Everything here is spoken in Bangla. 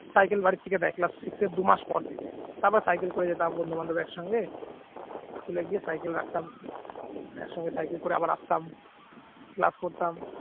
cycle বাড়ি থেকে দেয় class six র দুই মাস পর থেকে তারপর cycle করে যেতাম বন্ধুবান্ধব একসঙ্গে school গিয়ে cycle রাখতাম একসঙ্গে cycle করে আবার আসতাম class করতাম